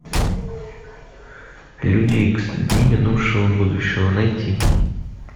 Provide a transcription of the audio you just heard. люди икс дни минувшего будущего найти